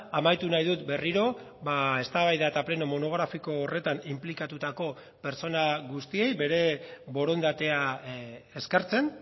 amaitu nahi dut berriro eztabaida eta pleno monografiko horretan inplikatutako pertsona guztiei bere borondatea eskertzen